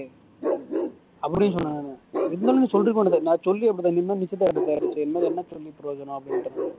அப்படீன்னு சொன்னாங்கண்ணே எதுனாலும் நீ சொல்லிருக்க வேண்டியதுதானடா சொல்லி அப்படிதா இன்னும் நிச்சயதார்த்தம் ஆயிருச்சு இனிமே என்ன சொல்லி பிரயோஜனம் அப்படீன்னுட்டேன் நான்